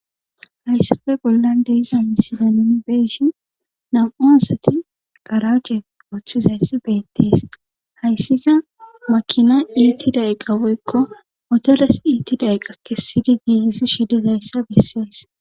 Haysape bollan de7iza misilen nu be7ishin nam7u asati garaaje oothizayssi beetes haysikka makina iitida iqa woykko motores iitida iqa kessidi giigissishe dizayssa besses.